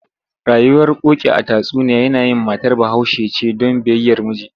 Rayuwar Koki a tatsuniya yanayin matar Bahaushe ce don biyayyar miji.